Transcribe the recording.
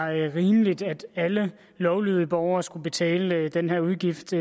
rimeligt at alle lovlydige borgere skal betale den her udgift